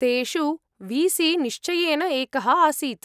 तेषु वी.सी निश्चयेन एकः आसीत्।